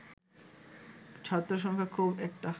ছাত্রসংখ্যা খুব একটা